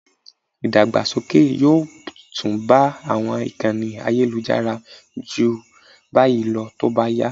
Ìdàgbàsókè yóò tún bá àwọn ìkànnì ayélujára ju báyìí lọ tó bá yá